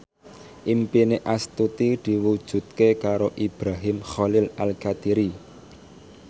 impine Astuti diwujudke karo Ibrahim Khalil Alkatiri